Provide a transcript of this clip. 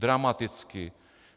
Dramaticky!